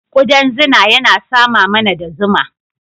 Ƙudan zuna yana sama mana da zuma.